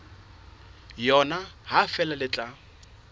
yona ha feela le tla